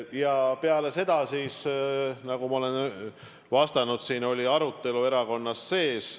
Ja peale seda siis, nagu ma olen vastanud siin, oli arutelu erakonna sees.